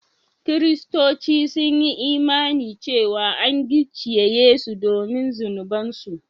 Kiristoci sun yi imani cewa an gicciye Yesu domin zunubansu